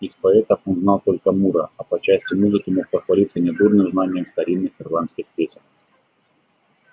из поэтов он знал только мура а по части музыки мог похвалиться недурным знанием старинных ирландских песен